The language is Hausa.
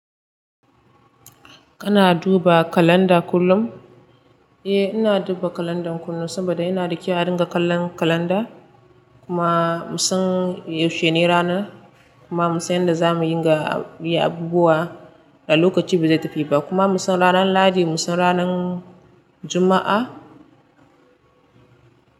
Kana duba kalanda kullum? Eh, ina duba kalanda kullum saboda yana da kyau a dinga kallon kalanda. Kuma mun san yaushe ne ranar. Kuma mun san yanda za muyin ga yi abubuwa da lokaci ba zai tafi ba. Kuma mun san ranan lahadi, mun san ranan juma'a.